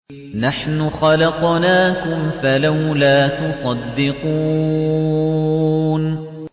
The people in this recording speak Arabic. نَحْنُ خَلَقْنَاكُمْ فَلَوْلَا تُصَدِّقُونَ